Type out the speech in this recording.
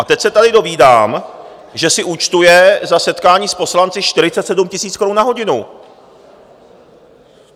A teď se tady dovídám, že si účtuje za setkání s poslanci 47 000 korun na hodinu.